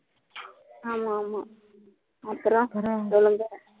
ஆமா ஆமா அப்புறம் சொல்லுங்க